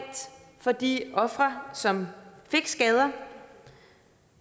for de ofre som fik skader